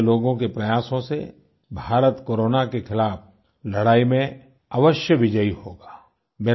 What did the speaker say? आप जैसे लोगों के प्रयासों से भारत कोरोना के खिलाफ़ लड़ाई में अवश्य विजयी होगा